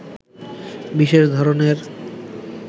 বিশেষ ধরণের